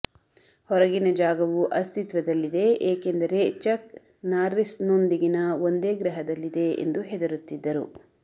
ಹೊರಗಿನ ಜಾಗವು ಅಸ್ತಿತ್ವದಲ್ಲಿದೆ ಏಕೆಂದರೆ ಚಕ್ ನಾರ್ರಿಸ್ನೊಂದಿಗಿನ ಒಂದೇ ಗ್ರಹದಲ್ಲಿದೆ ಎಂದು ಹೆದರುತ್ತಿದ್ದರು